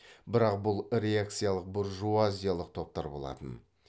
бірақ бұл реакциялық буржуазиялық топтар болатын